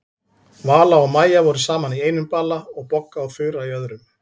Vala og Maja voru saman í einum bala og Bogga og Þura í öðrum.